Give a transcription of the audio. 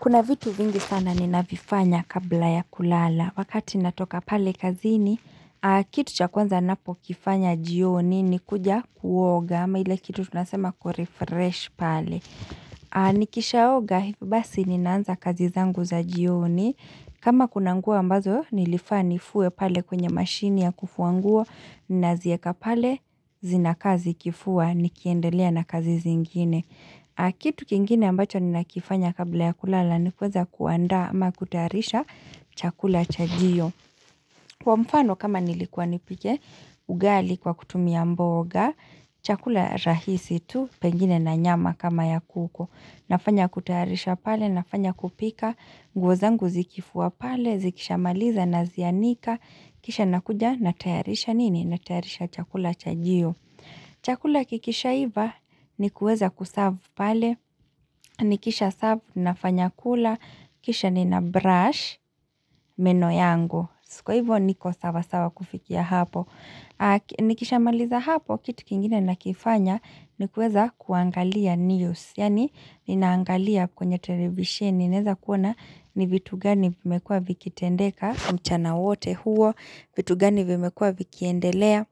Kuna vitu vingi sana ni navifanya kabla ya kulala. Wakati natoka pale kazini, kitu cha kwanza napo kifanya jioni ni kuja kuoga ama ile kitu tunasema kurefresh pale. Nikishaoga, hivyo basi ni naanza kazi zangu za jioni. Kama kuna nguo ambazo, nilifaa nifue pale kwenye mashine ya kufuanguo, naziweka pale zinaka zikifua nikiendelea na kazi zingine. Kitu kingine ambacho ni nakifanya kabla ya kulala ni kuweza kuandaa ama kutahayarisha chakula chajio. Kwa mfano kama nilikuwa nipike ugali kwa kutumia mboga, chakula rahisi tu pengine na nyama kama ya kuku. Nafanya kutayarisha pale, nafanya kupika, nguo zangu zikifuwa pale, zikishamaliza na zianika, kisha nakuja na tayarisha nini na tayarisha chakula chajio. Chakula kikisha iva ni kuweza kuserve pale, ni kisha serve na fanyakula, kisha nina brush, meno yangu. So kwa hivyo niko sawa sawa kufikia hapo. Nikisha maliza hapo, kitu kingine na kifanya ni kuweza kuangalia news Yani, ninaangalia kwenye televisheni, ninaweza kuona ni vitu gani vimekua vikitendeka, mchana wote huo vitu gani vimekua vikiendelea,